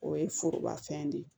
O ye foroba fɛn de ye